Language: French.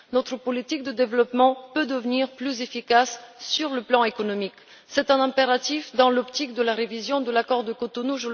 Notre politique de développement peut devenir plus efficace sur le plan économique. Je rappelle aussi que c'est un impératif dans l'optique de la révision de l'accord de Cotonou.